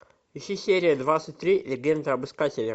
ищи серия двадцать три легенда об искателе